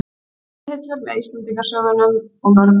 Bókahillur, með Íslendingasögunum og mörgum